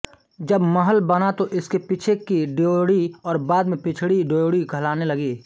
जब महल बना तो इसके पीछे की ड्योढ़ी और बाद में पिछड़ी ड्योढ़ी कहलाने लगी